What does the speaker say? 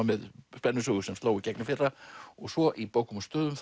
með spennusögu sem sló í gegn í fyrra og svo í bókum og stöðum